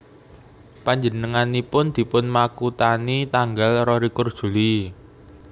Panjenenganipun dipun makuthani tanggal rolikur Juli